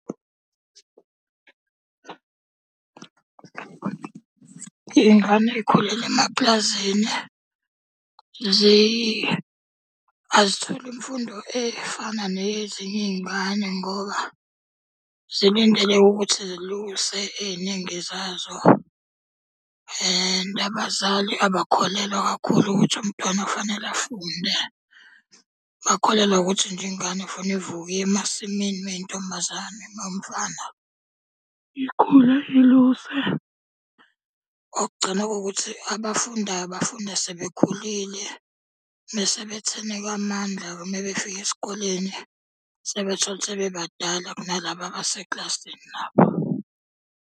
Iy'ngane ey'khulele emapulazini, azitholi imfundo efana neyezinye iy'ngane ngoba zilindeleke ukuthi ziluse ey'ningi zazo. And abazali abakholelwa kakhulu ukuthi umntwana kufanele afunde. Bakholelwa ukuthi nje ingane kufanele ivuke iye emasimini uma iyintombazane, uma iwumfana ikhule iluse. Okugcina kukuthi abafundayo bafunda sebekhulile. Bese betheneka amandla-ke uma befika esikoleni sebethola ukuthi sebebadala kunalaba abasekilasini nabo.